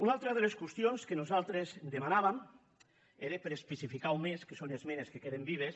una altra de les qüestions que nosaltres demanàvem era per especificar ho més que són esmenes que queden vives